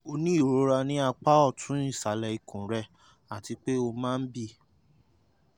o ní ìrora ní apá ọ̀tún ìsàlẹ̀ ikùn rẹ àti pé o máa ń bì